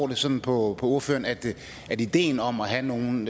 det sådan på ordføreren at ideen om at have nogle